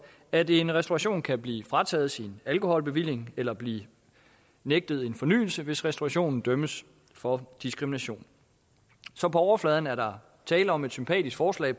at en restauration kan blive frataget sin alkoholbevilling eller blive nægtet en fornyelse hvis restaurationen dømmes for diskrimination så på overfladen er der tale om et sympatisk forslag